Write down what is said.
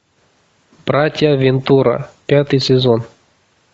братья вентура пятый сезон